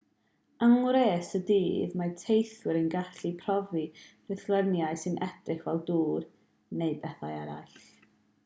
yng ngwres y dydd mae teithwyr yn gallu profi rhithluniau sy'n edrych fel dŵr neu bethau eraill